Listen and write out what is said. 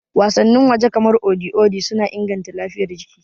Wasannin waje kamar Odi Odi suna inganta lafiyar jiki.